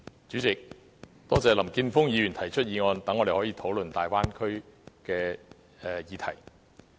主席，多謝林健鋒議員提出議案，讓我們可以討論粵港澳大灣區的議題。